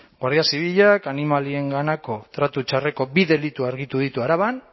guardia zibilak animalienganako tratu txarreko bi delitu argitu ditu araban